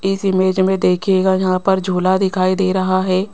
इस इमेज में देखिएगा जहां पर झूला दिखाई दे रहा हैं।